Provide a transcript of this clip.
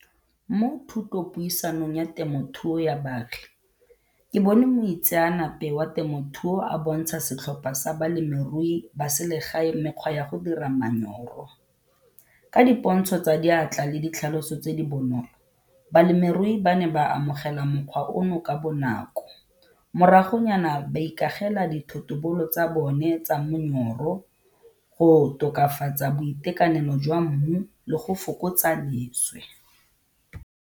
Mo thutopuisanong ya temothuo ya baagi, ke bone moitseanape wa temothuo a bontsha setlhopha sa balemirui ba selegae mekgwa ya go dira . Ka dipontsho tsa diatla le ditlhaloso tse di bonolo balemirui ba ne ba amogela mokgwa ono ka bonako, moragonyana ba ikagela dithotobolo tsa bone tsa go tokafatsa boitekanelo jwa mmu le go fokotsa leswe.